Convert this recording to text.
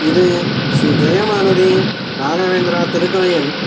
இது ஸ்ரீ ஜெய மாருதி ராகவேந்த்ரா திருக்கோயில்.